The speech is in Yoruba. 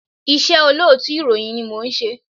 Iṣẹ́ olóòtú ìròyìn ni mò ń ṣe.